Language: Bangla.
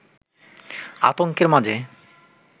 আতংকের মাঝে